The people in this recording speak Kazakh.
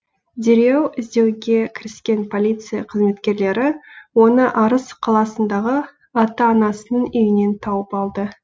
дереу іздеуге кіріскен полиция қызметкерлері оны арыс қаласындағы ата анасының үйінен тауып алды